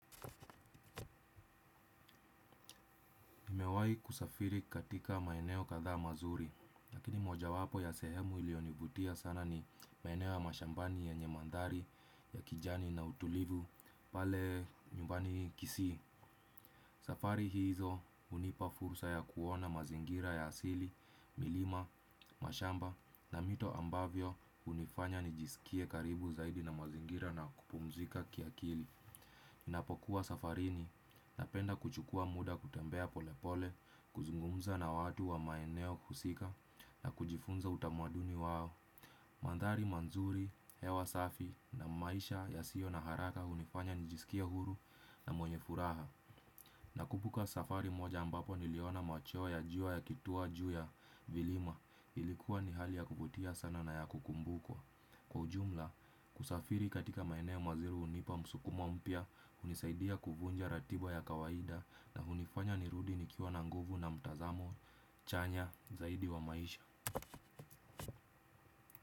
Nimewai kusafiri katika maeneo katha mazuri, lakini moja wapo ya sehemu ilionibutia sana ni maeneo ya mashambani ya nyemandari ya kijani na utulivu pale nyumbani kisi. Safari hizo unipa fursa ya kuona mazingira ya asili, milima, mashamba na mito ambavyo unifanya nijisikie karibu zaidi na mazingira na kupumzika kiakili. Napokuwa safarini na penda kuchukua muda kutembea polepole, kuzungumza na watu wa maeneo husika na kujifunza utamaduni wao. Mandari manzuri, hewa safi na maisha ya sio na haraka unifanya nijisikie huru na mwenye furaha nakumbuka safari moja ambapo niliona machweo ya jua yakitua juu ya milima ilikuwa ni hali ya kuvutia sana na ya kukumbukwa kwa ujumla usafiri katika maeneo mazuri hunipa msukumo mpya hunisaidia kuvunja ratiba ya kawaida na hunifanya nirudi nikiwa na nguvu na mtazamo chanya zaidi wa maisha.